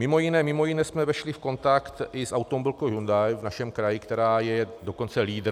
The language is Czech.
Mimo jiné jsme vešli v kontakt i s automobilkou Hyundai v našem kraji, která je dokonce lídr...